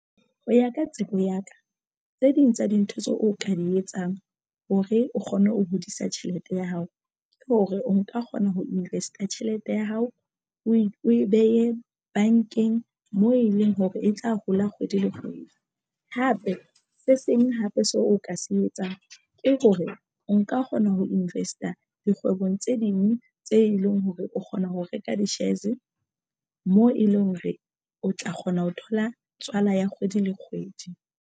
Ho ya ka tsebo ya ka tse ding tsa dintho tseo o ka di etsang hore o kgone ho hodisa tjhelete ya hao ke hore o nka kgona ho invest-a tjhelete ya hao o e behe bankeng moo e leng hore e tla hola kgwedi le kgwedi. Hape se seng hape seo o ka se etsang ke hore nka kgona ho invest-a dikgwebong tse ding tse leng hore o kgona ho reka di-shares moo e leng hore o tla kgona ho thola tswala ya kgwedi le kgwedi.